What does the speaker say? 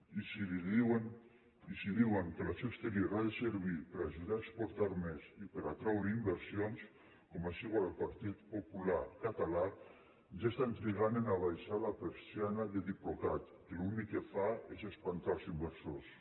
i si diuen que l’acció exterior ha de servir per ajudar a exportar més i per atraure inversions com així ho vol el partit popular català ja estan trigant a abaixar la persiana de diplocat que l’únic que fa és espantar els inversors